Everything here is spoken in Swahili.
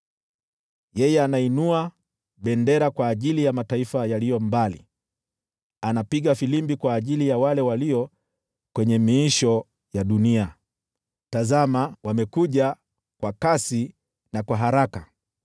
Yeye anainua bendera kwa ajili ya mataifa yaliyo mbali, anapiga filimbi kwa ajili ya wale walio kwenye miisho ya dunia. Tazama wamekuja, kwa kasi na kwa haraka!